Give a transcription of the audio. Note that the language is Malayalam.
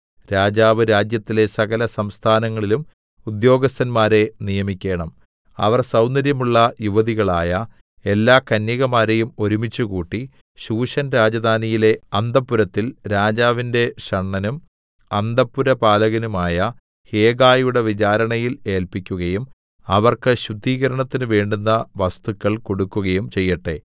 രാജാവ് രാജ്യത്തിലെ സകലസംസ്ഥാനങ്ങളിലും ഉദ്യോഗസ്ഥന്മാരെ നിയമിക്കേണം അവർ സൗന്ദര്യമുള്ള യുവതികളായ എല്ലാകന്യകമാരെയും ഒരുമിച്ചുകൂട്ടി ശൂശൻരാജധാനിയിലെ അന്തഃപുരത്തിൽ രാജാവിന്റെ ഷണ്ഡനും അന്തഃപുരപാലകനുമായ ഹേഗായിയുടെ വിചാരണയിൽ ഏല്പിക്കുകയും അവർക്ക് ശുദ്ധീകരണത്തിന് വേണ്ടുന്ന വസ്തുക്കൾ കൊടുക്കുകയും ചെയ്യട്ടെ